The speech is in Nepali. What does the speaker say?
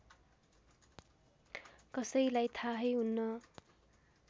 कसैलाई थाहै हुन्न